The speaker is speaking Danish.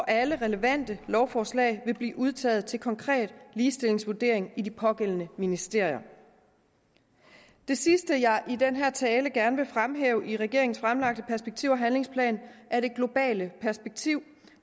alle relevante lovforslag vil blive udtaget til konkret ligestillingsvurdering i de pågældende ministerier det sidste jeg i den her tale gerne vil fremhæve i regeringens fremlagte perspektiv og handlingsplan er det globale perspektiv